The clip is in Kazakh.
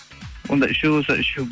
онда үшеу болса үшеу